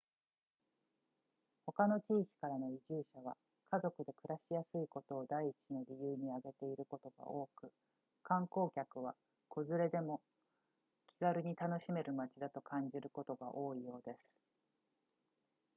他の地域からの移住者は家族で暮らしやすいことを第一の理由に挙げていることが多く観光客は子連れでも気軽に楽しめる街だと感じることが多いようです